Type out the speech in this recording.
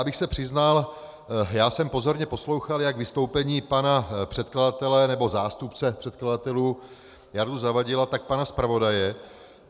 Abych se přiznal, já jsem pozorně poslouchal jak vystoupení pana předkladatele, nebo zástupce předkladatelů Jardy Zavadila, tak pana zpravodaje.